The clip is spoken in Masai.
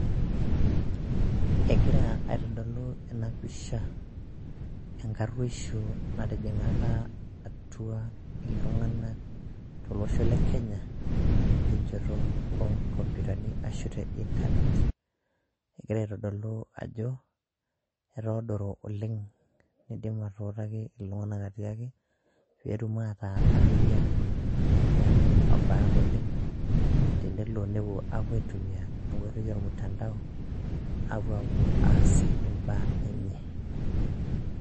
Egira aitodolu ena pisha enkaruosho natijingaka atua iltunganak tolosho le Kenya tenchoto oo nkompitani aashu te internet egira aitodolu ajo etoodoro oleng neidim atuutaki iltunganak ajo pee etum ataa ariyiak neeku abarak oleng tenelo aitumiya enkoitoi olmutandao tenepuo aas imbaa enye.